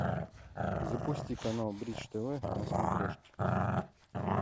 запусти канал бридж тв на смотрешке